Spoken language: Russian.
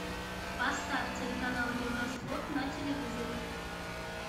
поставь телеканал евроспорт на телевизоре